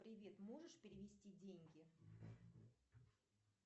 привет можешь перевести деньги